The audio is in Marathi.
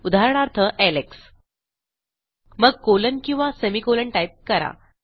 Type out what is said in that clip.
उदाहरणार्थ एलेक्स मग कोलन किंवा सेमी कोलन टाईप करा